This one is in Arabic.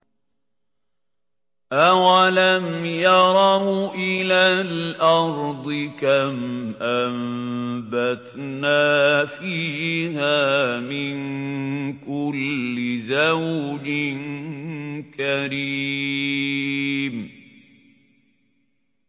أَوَلَمْ يَرَوْا إِلَى الْأَرْضِ كَمْ أَنبَتْنَا فِيهَا مِن كُلِّ زَوْجٍ كَرِيمٍ